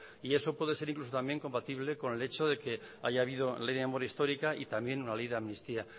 y eso puede ser incluso también compatible con el hecho de que haya habido ley de memoria histórica y también una ley de amnistía